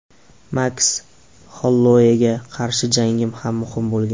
Maks Holloueyga qarshi jangim ham muhim bo‘lgan.